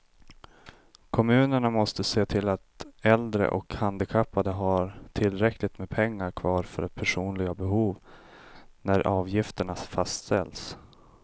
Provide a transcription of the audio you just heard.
Kommunerna måste se till att äldre och handikappade har tillräckligt med pengar kvar för personliga behov när avgifterna fastställs.